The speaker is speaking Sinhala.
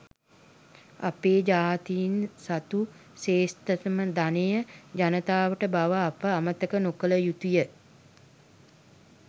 අපේ ජාතීන් සතු ශ්‍රේෂ්ඨතම ධනය ජනතාව බව අප අමතක නොකළ යුතු ය.